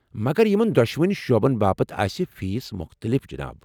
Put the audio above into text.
مگر یمن دۄشوٕنی شعبن باپتھ آسہ فیس مختٔلف، جِناب۔